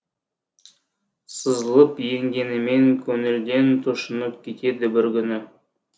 сызылып енгенімен көңілден тұшынып кетеді бір күні